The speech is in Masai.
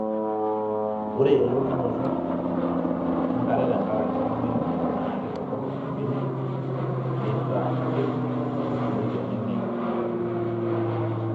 ore eleunoto enkare te nkaraki olameyu naa keitodorop ibenek, neita kutik, neiteneneng' inkaitubulu